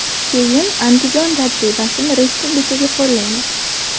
Keyin Andijon tajribasini respublikaga qo‘llaymiz.